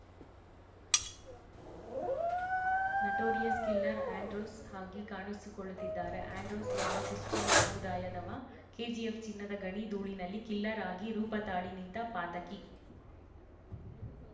notorious killer Andrews ಆಗಿ ಕಾಣಿಸಿಕೊಳ್ಳುತ್ತಿದ್ದಾರೆ Andrews ಓರ್ವ ಕ್ರಿಶ್ಚಿಯನ್‌ ಸಮುದಾಯದವ ಕೆಜಿಎಫ್‌ ಚಿನ್ನದ ಗಣಿ ಧೂಳಿನಲ್ಲಿ ಕಿಲ್ಲರ್‌ ಆಗಿ ರೂಪ ತಾಳಿ ನಿಂತ ಪಾತಕಿ